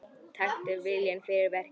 Taktu viljann fyrir verkið.